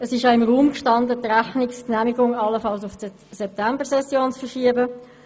Es stand ja im Raum, die Genehmigung der Rechnung allenfalls auf die Septembersession zu verschieben.